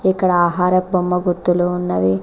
ఇక్కడ ఆహార బొమ్మ గుర్తులు ఉన్నవి.